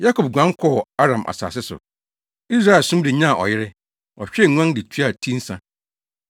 Yakob guan kɔɔ Aramfo asase so; Israel som de nyaa ɔyere, ɔhwɛɛ nguan de tuaa ti nsa.